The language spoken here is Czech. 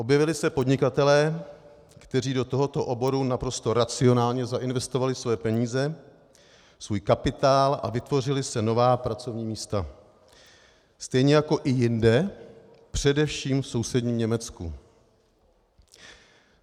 Objevili se podnikatelé, kteří do tohoto oboru naprosto racionálně zainvestovali své peníze, svůj kapitál, a vytvořila se nová pracovní místa, stejně jako i jinde, především v sousedním Německu.